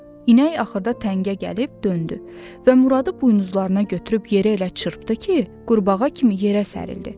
İnək axırda təngə gəlib döndü və Muradı buynuzlarına götürüb yeri elə çırpdı ki, qurbağa kimi yerə sərildi.